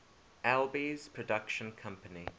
alby's production company